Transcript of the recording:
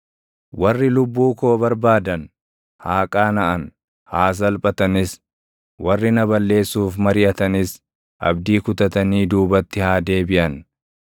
Warri lubbuu koo barbaadan, haa qaanaʼan; haa salphatanis; warri na balleessuuf mariʼatanis, abdii kutatanii duubatti haa deebiʼan.